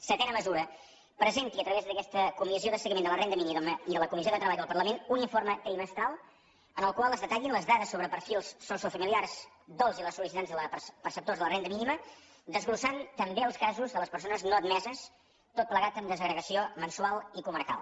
setena mesura presenti a través d’aquesta comissió de seguiment de la renda mínima i de la comissió de treball del parlament un informe trimestral en el qual es detallin les dades sobre perfils sociofamiliars dels i les sol·licitants i perceptors de la renda mínima desglossant també els casos de les persones no admeses tot plegat amb desagregació mensual i comarcal